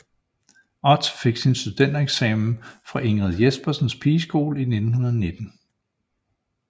Ott fik sin studentereksamen fra Ingrid Jespersens Pigeskole i 1919